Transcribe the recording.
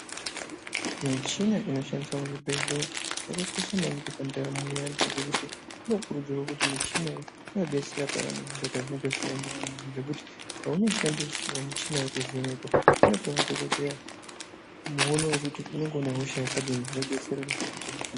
Michina inoshandiswa muzvibhehleya yakakosha maningi pandaramo yeantu ngekuti inokurudzirwa kuti michina iyi inodetsera payani zviro pazvinenge zvisina kumira mushe. Zvokuti paunoshandisirwa michina iyi kuvhenekwa inope madhogodheya muono wekuti unenge uine hosha yakadini zvodetsera kuita zvakanaka.